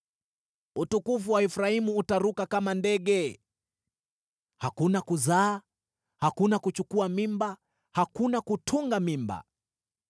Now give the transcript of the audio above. Utukufu wa Efraimu utaruka kama ndege: hakuna kuzaa, hakuna kuchukua mimba, hakuna kutunga mimba.